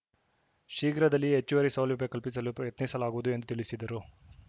ಶೀಘ್ರದಲ್ಲಿಯೇ ಹೆಚ್ಚುವರಿ ಸೌಲಭ್ಯ ಕಲ್ಪಿಸಲು ಪ್ರಯತ್ನಿಸಲಾಗುವುದು ಎಂದು ತಿಳಿಸಿದರು